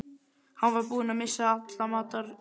Hann var búinn að missa alla matar